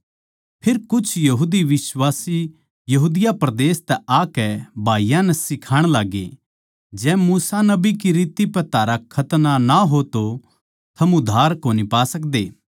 फेर कुछ यहूदी बिश्वासी यहूदा परदेस तै आकै भाईयाँ नै सिखाण लाग्गे जै मूसा नबी की रीत पै थारा खतना न्ही हो तो थम उद्धार कोनी पा सकदे